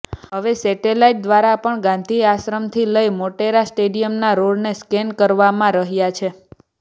હવે સેટેલાઈટ દ્વારા પણ ગાંધીઆશ્રમથી લઈ મોટેરા સ્ટેડિયમના રોડને સ્કેન કરવામાં રહ્યા છે